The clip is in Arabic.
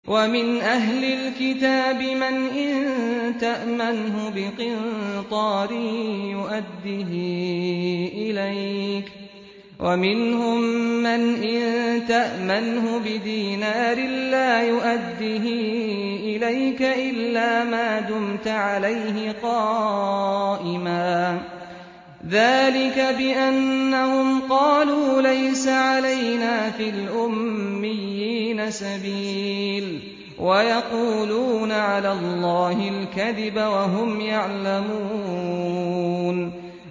۞ وَمِنْ أَهْلِ الْكِتَابِ مَنْ إِن تَأْمَنْهُ بِقِنطَارٍ يُؤَدِّهِ إِلَيْكَ وَمِنْهُم مَّنْ إِن تَأْمَنْهُ بِدِينَارٍ لَّا يُؤَدِّهِ إِلَيْكَ إِلَّا مَا دُمْتَ عَلَيْهِ قَائِمًا ۗ ذَٰلِكَ بِأَنَّهُمْ قَالُوا لَيْسَ عَلَيْنَا فِي الْأُمِّيِّينَ سَبِيلٌ وَيَقُولُونَ عَلَى اللَّهِ الْكَذِبَ وَهُمْ يَعْلَمُونَ